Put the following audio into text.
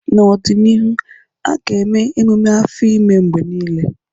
N'ọdịnihu, a ga-eme ememe afọ ime mgbe niile.